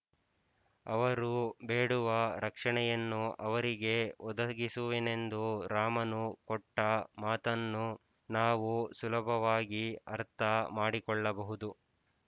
ಅವರು ಬೇಡುವ ರಕ್ಷಣೆಯನ್ನು ಅವರಿಗೆ ಒದಗಿಸುವೆನೆಂದು ರಾಮನು ಕೊಟ್ಟ ಮಾತನ್ನು ನಾವು ಸುಲಭವಾಗಿ ಅರ್ಥಮಾಡಿಕೊಳ್ಳಬಹುದು